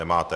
Nemáte.